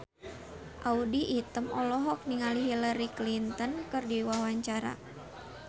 Audy Item olohok ningali Hillary Clinton keur diwawancara